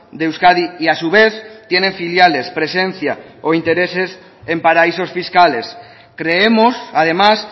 de euskadi y a su vez tienen filiales presencia o intereses en paraísos fiscales creemos además